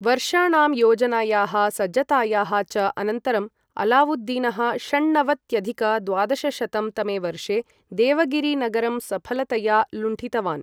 वर्षाणां योजनायाः सज्जतायाः च अनन्तरं, अलावुद्दीनः षण्णवत्यधिक द्वादशशतं तमे वर्षे देवगिरि नगरं सफलतया लुण्ठितवान्।